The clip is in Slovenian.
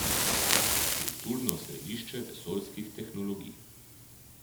Kulturno središče vesoljskih tehnologij.